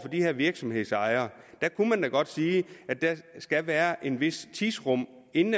de her virksomhedsejere der kunne man da godt sige at der skal være et vist tidsrum inden